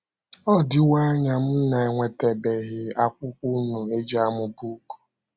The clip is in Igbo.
Ọ dịwo anya m na - enwetabeghị akwụkwọ unu e ji amụ book.